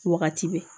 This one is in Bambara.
Wagati bɛɛ